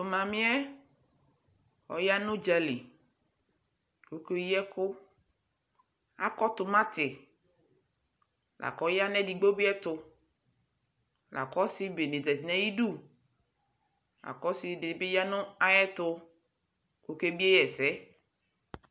mami yɛ ɔya nu dƶa li ku oke ɣi ɛku akɔ tɔmati lakɔ ya nu edigbo bi ye tu la kɔ ɔsi bene bi ʒati nayi du la kɔ ɔsi be bi ya nu ayɛtu ku okebie yi ɛsɛ